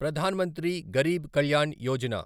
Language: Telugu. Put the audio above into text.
ప్రధాన్ మంత్రి గరీబ్ కల్యాణ్ యోజన